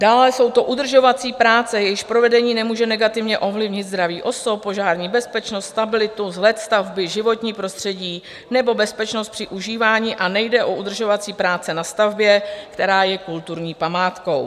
Dále jsou to udržovací práce, jejichž provedení nemůže negativně ovlivnit zdraví osob, požární bezpečnost, stabilitu, vzhled stavby, životní prostředí nebo bezpečnost při užívání a nejde o udržovací práce na stavbě, která je kulturní památkou.